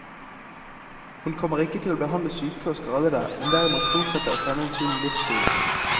Hun kommer ikke til å behandle syke og skadede, men derimot fortsette å fremme en sunn livsstil.